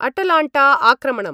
अटलाण्टाआक्रमणम्